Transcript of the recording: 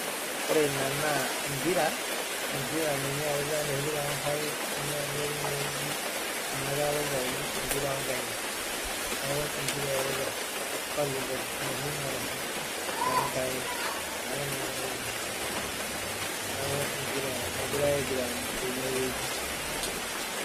Ore ena naa empira enoshi oo nkaik ninye erita Nena kera pookira uni empira oo nkaik neeku empira eritai volleyball enoshi naoshi too nkaik neeku empira egirai aiguran tenewueji